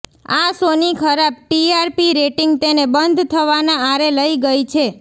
આ શોની ખરાબ ટીઆરપી રેટિંગ તેને બંધ થવાના આરે લઈ ગઈ છે